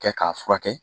Kɛ k'a furakɛ